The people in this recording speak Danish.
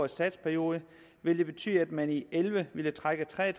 satsperiode ville det betyde at man i og elleve ville trække tre og